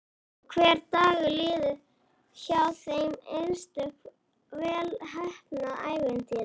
Og hver dagur líður hjá þeim einsog vel heppnað ævintýri.